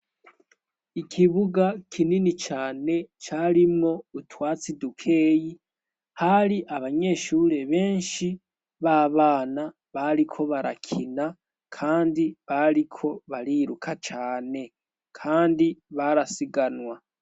Ikibuga kinini cane carimo utwatsi dukeyi hari abanyeshure benshi b'a bana bariko barakina, kandi bariko bariruka cane, kandi barasiganwa.